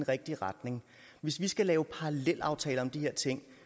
rigtige retning hvis vi skal lave parallelaftaler om de her ting